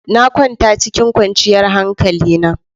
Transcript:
Na kwanta cikin kwanciyar hankalina.